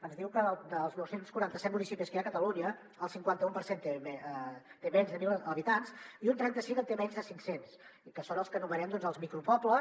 ens diu que dels nou cents i quaranta set municipis que hi ha a catalunya el cinquanta u per cent té menys de mil habitants i un trenta cinc en té menys de cinc cents i que són els que anomenem els micropobles